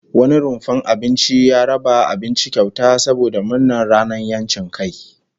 Wani rumfar abinci ya raba abinci kyauta saboda murnar ranar 'yancin kai